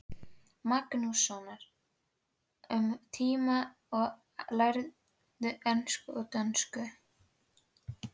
Magnússonar um tíma og lærðu ensku og dönsku.